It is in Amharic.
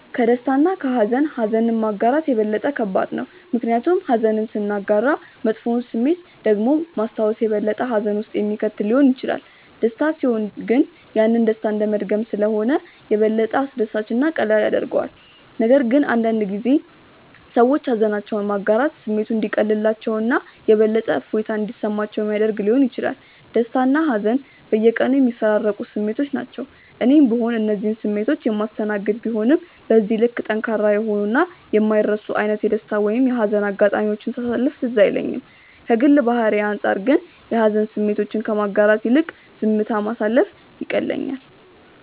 ከደስታ እና ከሃዘን ኀዘንን ማጋራት የበለጠ ከባድ ነው። ምክንያቱም ኀዘንን ስናጋራ መጥፎውን ስሜት ደግሞ ማስታወስ የበለጠ ሀዘን ውስጥ የሚከት ሊሆን ይችላል። ደስታ ሲሆን ግን ያንን ደስታ እንደመድገም ስለሆነ የበለጠ አስደሳች እና ቀላል ያደርገዋል፤ ነገር ግን አንዳንድ ጊዜ ሰዎች ሃዘናቸውን ማጋራት ስሜቱ እንዲቀልላቸው እና የበለጠ እፎይታ እንዲሰማቸው ሚያደረግ ሊሆን ይችላል። ደስታና ሀዘን በየቀኑ የሚፈራረቁ ስሜቶች ናቸው። እኔም ብሆን እነዚህን ስሜቶች የማስተናገድ ቢሆንም በዚህ ልክ ጠንካራ የሆኑ እና የማይረሱ አይነት የደስታ ወይም የሀዘን አጋጣሚዎችን ሳሳለፍ ትዝ አይለኝም። ከግል ባህሪዬ አንጻር ግን የሀዘን ስሜቶችን ከማጋራት ይልቅ ዝምታ ማሳለፍ ይቀለኛል።